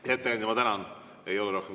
Hea ettekandja, ma tänan!